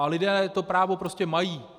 A lidé toto právo prostě mají.